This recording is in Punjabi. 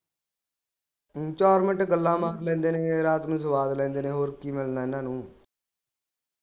ਚਾਰ ਮਿੰਟ ਗੱਲਾਂ ਮਾਰ ਲੈਂਦੇ ਨੇ ਰਾਤ ਨੂੰ ਸਵਾਦ ਲੈਂਦੇ ਨੇ ਹੋਰ ਕੀ ਮਿਲਣਾ ਇਹਨਾਂ ਨੂੰ